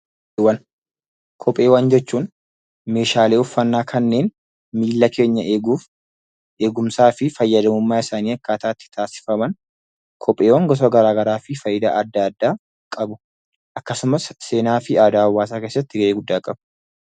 Kopheewwan jechuun meeshaalee uffatnaa kanneen miilla keenya eeguuf, eegumsaa fi fayyadamummaa isaanii akkaataa itti taasifaman, kopheewwan gosa garaa garaa fi faayidaa adda addaa qabu akkasumas seenaa fi aadaa hawaasaa keessatti gahee guddaa qabu.